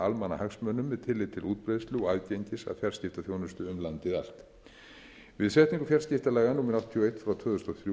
almannahagsmunum með tilliti til útbreiðslu og aðgengis að fjarskiptaþjónustu um landið allt við setningu fjarskiptalaga númer áttatíu og eitt tvö þúsund